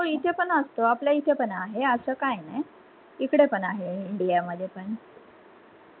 हो इथे पण असत आपल्या इथे पण आहे अस काय नाय, इकडे पण आहे इंडिया मध्ये पण